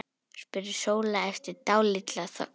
spurði Sóla eftir dálitla þögn.